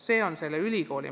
See on ülikooli mõte.